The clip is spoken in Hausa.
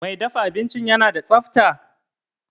Mai dafa abincin yana da tsafta?